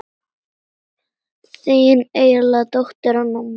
Þín einlæga dóttir Anna María.